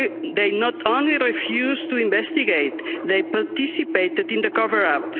They not only refused to investigate, they participated in the cover up.